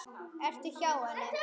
Ertu hjá henni?